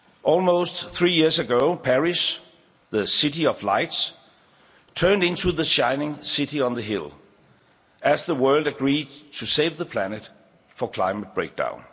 change. Almost three years ago, Paris, the City of Lights, turned into the shining city on the hill as the world agreed to save the planet from climate breakdown.